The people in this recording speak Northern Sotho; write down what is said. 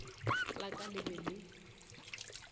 la ka le be le